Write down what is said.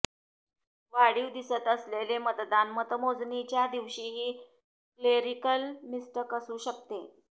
वाढीव दिसत असलेले मतदान मतमोजणीच्या दिवशीची क्लेरीकल मिस्टक असू शकते